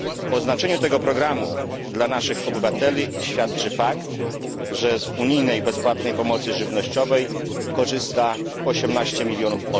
O znaczeniu tego programu dla naszych obywateli świadczy fakt, że z unijnej bezpłatnej pomocy żywnościowej korzysta 18 milionów